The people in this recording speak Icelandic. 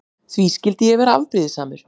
Því skyldi ég vera afbrýðisamur?